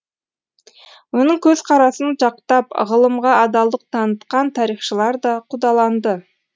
оның көзкарасын жақтап ғылымға адалдық танытқан тарихшылар да қудаланды